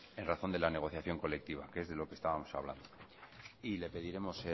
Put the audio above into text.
en razón de la negociación colectiva que es de lo que estábamos hablando le pediremos